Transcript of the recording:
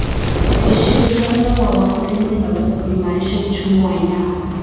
Ushirikiano wa wakulima unaweza kuimarisha uchumi wa eneo.